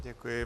Děkuji.